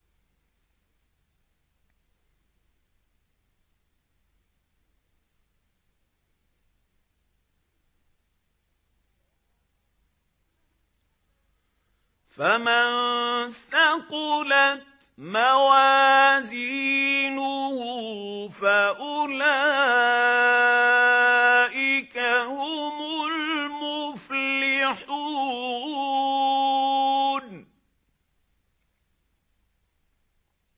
فَمَن ثَقُلَتْ مَوَازِينُهُ فَأُولَٰئِكَ هُمُ الْمُفْلِحُونَ